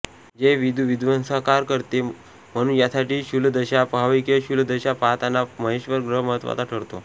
जे विदूध्वंससंहार करते म्हणुन यासाठी शूलदशा पहावी किंवा शूलदशा पहाताना महेश्वर ग्रह महत्त्वाचा ठरतो